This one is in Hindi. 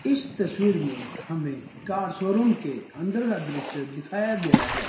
इस तस्वीर में हमें कार शोरूम के अंदर का दृश्य दिखाया गया है।